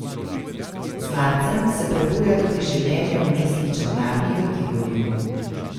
Z marcem se prebuja tudi življenje v mestni Čolnarni v Tivoliju.